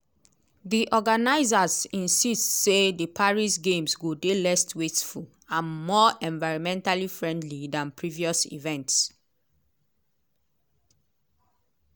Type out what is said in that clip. di organisers insist say di paris games go dey less wasteful and more environmentally friendly dan previous events.